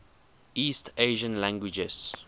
east asian languages